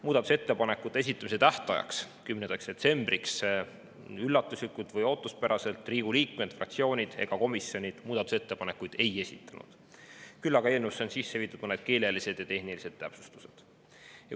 Muudatusettepanekute esitamise tähtajaks – 10. detsembriks – üllatuslikult või ootuspäraselt Riigikogu liikmed, fraktsioonid ega komisjonid muudatusettepanekuid ei esitanud, küll aga on eelnõusse sisse viidud mõned keelelised ja tehnilised täpsustused.